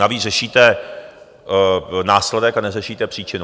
Navíc řešíte následek a neřešíte příčinu.